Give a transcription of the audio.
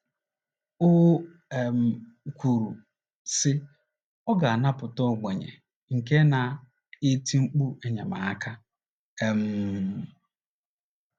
O um kwuru, sị: “ Ọ ga - anapụta ogbenye nke na - eti mkpu enyemaka um...